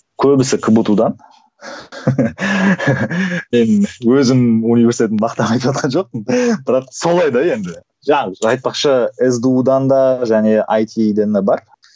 көбісі кбту дан мен өзімнің университетімді мақтап айтыватқан жоқпын бірақ солай да енді жаңағы айтпақшы сду дан да және айти дан да бар